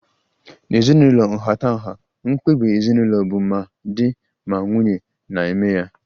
N'ezinụlọ ịha nhatanha, mkpebi ezinụlọ bu ma di ma nwunye na-eme ya